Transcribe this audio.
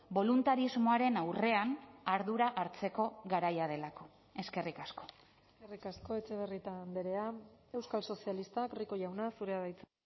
boluntarismoaren aurrean ardura hartzeko garaia delako eskerrik asko eskerrik asko etxebarrieta andrea euskal sozialistak rico jauna zurea da hitza